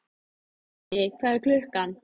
Uni, hvað er klukkan?